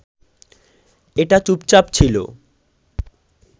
এটা চুপচাপ ছিল